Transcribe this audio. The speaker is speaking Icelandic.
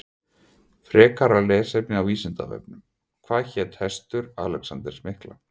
Frekara lesefni á Vísindavefnum Hvað hét hestur Alexanders mikla?